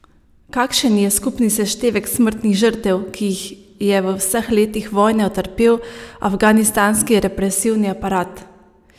Kakšen je skupni seštevek smrtnih žrtev, ki jih je v vseh letih vojne utrpel afganistanski represivni aparat?